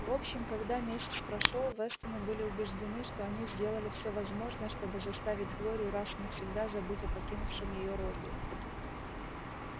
в общем когда месяц прошёл вестоны были убеждены что они сделали все возможное чтобы заставить глорию раз и навсегда забыть о покинувшем её робби